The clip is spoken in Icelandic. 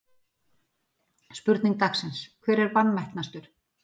Spurning dagsins: Hver er vanmetnastur?